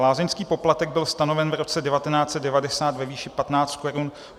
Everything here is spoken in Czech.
Lázeňský poplatek byl stanoven v roce 1990 ve výši 15 korun.